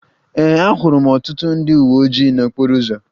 Ee, ahụrụ m ọtụtụ ndị uwe ojii n'okporo ụzọ